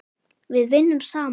Við vinnum saman!